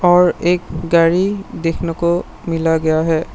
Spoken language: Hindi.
और एक गाड़ी देखने को मिला गया है।